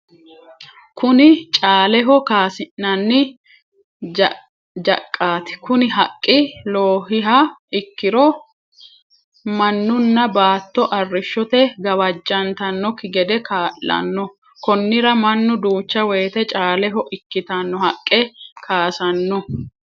Kuni caaleho kaasi'nanni jaqati kuni haqi loohiha ikkiro manunna baato arishote gawajjantanokki gede kaa'lanno, konirano manu duucha woyite caaleho ikkitano haqe kaasano